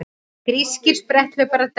Grískir spretthlauparar dæmdir